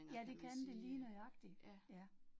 Ja, det kan det lige nøjagtig, ja